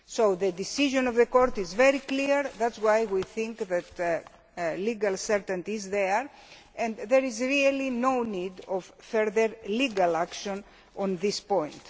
The decision of the Court is very clear that is why we think that legal certainty is there, and there is really no need for further legal action on this point.